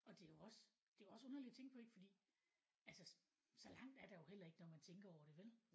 Og det er jo også det er jo også underligt at tænke på fordi altså så langt er der jo heller ikke hvis man tænker over det vel?